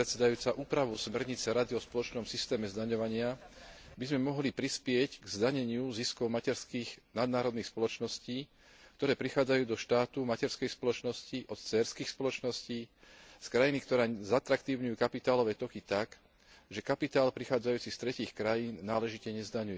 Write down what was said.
Úpravou smernice Rady o spoločnom systéme zdaňovania by sme mohli prispieť k zdaneniu ziskov materských nadnárodných spoločností, ktoré prichádzajú do štátu materskej spoločnosti od dcérskych spoločností, z krajín, ktoré zatraktívňujú kapitálové toky tak, že kapitál prichádzajúci z tretích krajín náležite nezdaňujú.